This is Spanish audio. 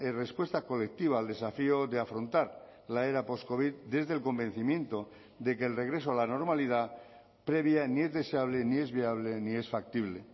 respuesta colectiva al desafío de afrontar la era postcovid desde el convencimiento de que el regreso a la normalidad previa ni es deseable ni es viable ni es factible